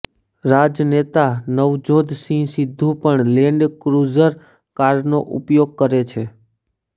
રાજનેતા નવજોધ સિંહ સિદ્ધુ પણ Land Cruiser કારનો ઉપીયોગ કરે છે